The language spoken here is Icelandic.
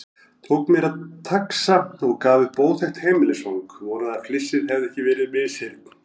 Tók mér taxa og gaf upp óþekkt heimilisfang, vonaði að flissið hefði ekki verið misheyrn.